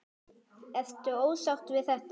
Ertu ósáttur við þetta?